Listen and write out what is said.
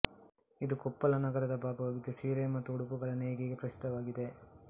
ಇದುಕೊಪ್ಪಳ ನಗರದ ಭಾಗವಾಗಿದ್ದು ಸೀರೆ ಮತ್ತು ಉಡುಪುಗಳ ನೇಯ್ಗೆಗೆ ಪ್ರಸಿದ್ಧವಾಗಿದೆ